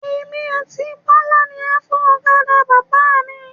Èmi àti Bọ́lá ni a fọ ọ̀kadà Bàbá mi.